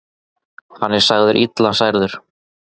Hann er sagður illa særður.